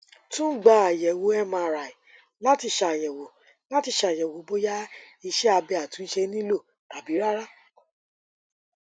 tun gba ayẹwo mri lati ṣayẹwo lati ṣayẹwo boya iṣẹ abẹ atunṣe nilo tabi rara